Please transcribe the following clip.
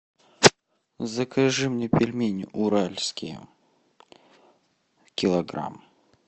закажи мне пельмени уральские килограмм